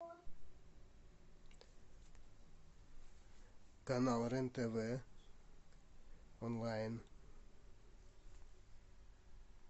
канал рен тв онлайн